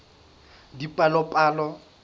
dipalopalo